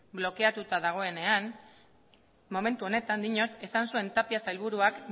blokeatuta dagonean momentu honetan diot esan zuen tapia sailburuak